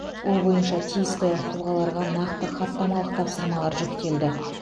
ол бойынша тиісті тұлғаларға нақты хаттамалық тапсырмалар жүктелді